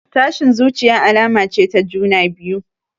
Tashin zuciya alama ce ta juna biyu.